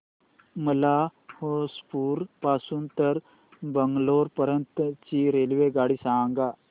मला होसुर पासून तर बंगळुरू पर्यंत ची रेल्वेगाडी सांगा